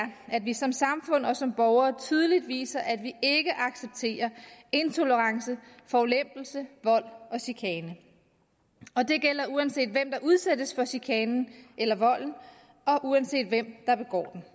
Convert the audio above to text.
at vi som samfund og som borgere tydeligt viser at vi ikke accepterer intolerance forulempelse vold og chikane og det gælder uanset hvem der udsættes for chikanen eller volden og uanset hvem der begår den